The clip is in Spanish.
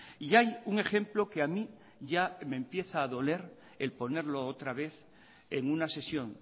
y hay un ejemplo que a mí ya me empieza a doler el ponerlo otra vez en una sesión